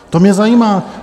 To mě zajímá.